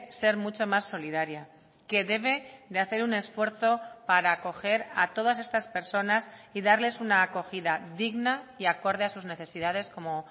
ser mucho más solidaria que debe de hacer un esfuerzo para acoger a todas estas personas y darles una acogida digna y acorde a sus necesidades como